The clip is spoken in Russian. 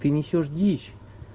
ты несёшь дичь